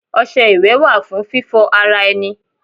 Ọṣẹ iwẹ wa fun fífò ara enì